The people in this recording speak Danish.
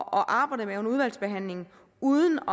arbejde med under udvalgsbehandlingen uden